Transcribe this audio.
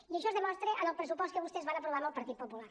i això es demostra en el pressupost que vostès van aprovar amb el partit popular